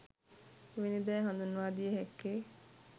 එවැනි දෑ හඳුන්වාදිය හැක්කේ